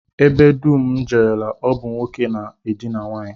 Ebe dum m jerela, ọ bụ nwoke na-edina nwaanyị